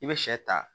I bɛ sɛ ta